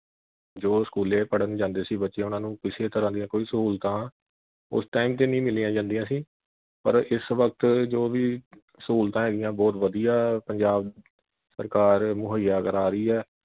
ਜੋ ਸਕੂਲੇ ਪੜ੍ਹਣ ਜਾਂਦੇ ਸੀ ਬੱਚੇ ਉਨ੍ਹਾਂ ਨੂੰ ਕਿਸੇ ਤਰ੍ਹਾਂ ਦੀਆਂ ਕੋਈ ਸਹੂਲਤਾਂ ਉਸ time ਤੇ ਨਹੀਂ ਮਿਲੀਆਂ ਜਾਂਦੀਆਂ ਸੀ ਪਰ ਇਸ ਵਕਤ ਜੋ ਵੀ ਸਹੂਲਤਾਂ ਹੈਗੀਆਂ ਬਹੁਤ ਵਧੀਆਂ ਪੰਜਾਬ ਸਰਕਾਰ ਮੁਹੱਈਆ ਕਰਾ ਰਹੀ ਐ।